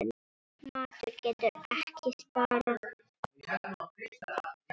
Matur getur ekki sparað.